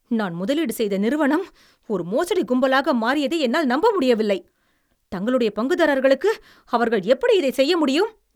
நான் முதலீடு செய்த நிறுவனம் ஒரு மோசடிக் கும்பலாக மாறியதை என்னால் நம்ப முடியவில்லை. தங்களுடைய பங்குதாரர்களுக்கு அவர்கள் எப்படி இதைச் செய்ய முடியும்?